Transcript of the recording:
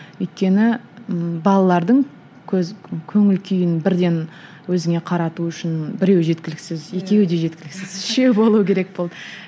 өйткені балалардың көз көңіл күйін бірден өзіңе қарату үшін біреу жеткіліксіз екеуі де жеткіліксіз үшеу болу керек болды